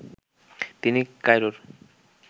তিনি কায়রোর